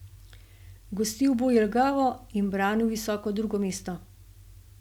Gostil bo Jelgavo in branil visoko drugo mesto.